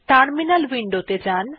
terminal window তে যাjan